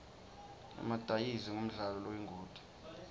emadayizi ngumdlalo loyingoti